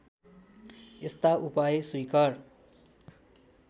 यस्ता उपाय स्वीकार